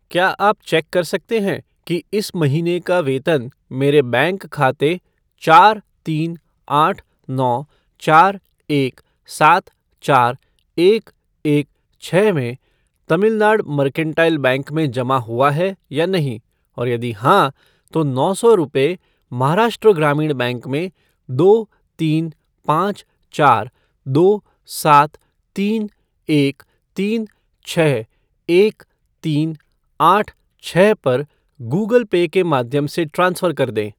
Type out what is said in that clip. क्या आप चेक कर सकते हैं कि इस महीने का वेतन मेरे बैंक खाते चार तीन आठ नौ चार एक सात चार एक एक छः में तमिलनाड मर्केंटाइल बैंक में जमा हुआ है या नहीं और यदि हाँ, तो नौ सौ रुपये महाराष्ट्र ग्रामीण बैंक में दो तीन पाँच चार दो सात तीन एक तीन छः एक तीन आठ छः पर गूगल पे के माध्यम से ट्रांसफ़र कर दें।